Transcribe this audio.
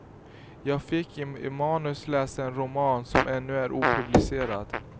Jag fick i manus läsa en roman, som ännu är opublicerad.